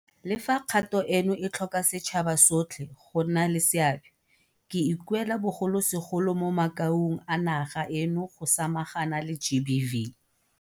Le fa kgato eno e tlhoka setšhaba sotlhe go nna le seabe, ke ikuela bogolosegolo mo makaung a naga eno go samagana le GBV.